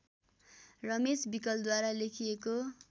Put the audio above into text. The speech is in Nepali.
रमेश विकलद्वारा लेखिएको